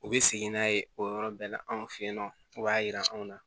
U bɛ segin n'a ye o yɔrɔ bɛɛ la anw fɛ yen nɔ o b'a jira anw na